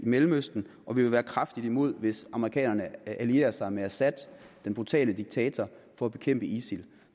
mellemøsten og vi vil være kraftigt imod hvis amerikanerne allierer sig med assad den brutale diktator for at bekæmpe isil